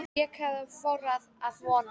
Betra en ég hafði þorað að vona